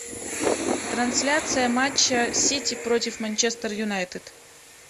трансляция матча сити против манчестер юнайтед